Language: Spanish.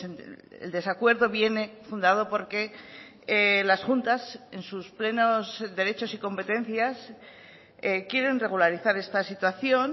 el desacuerdo viene fundado porque las juntas en sus plenos derechos y competencias quieren regularizar esta situación